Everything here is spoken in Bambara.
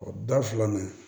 O da filanan